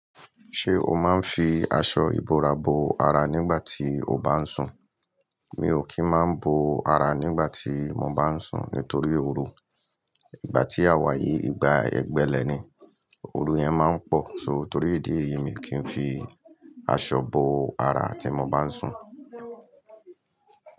Ṣé o máa ń fi aṣọ ìbora bo ara nígbà tí o bá ń sùn? Mi ò kí ń má bo ara nígbà tí mo bá ń sùn nítorí oru. Ìgbà tí a wà yìí igba ẹgbẹ́lẹ̀ ni, oru yẹn máa ń pọ̀. So torí ìdí èyí mi kì í fi aṣọ bo ara tí mo bá ń sùn.